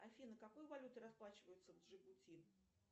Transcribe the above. афина какой валютой расплачиваются в джибути